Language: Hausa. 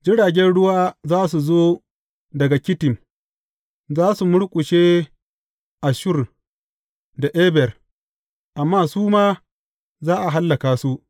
Jiragen ruwa za su zo daga Kittim; za su murƙushe Asshur da Eber, amma su ma za a hallaka su.